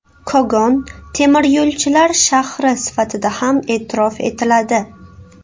Kogon temiryo‘lchilar shahri sifatida ham e’tirof etiladi.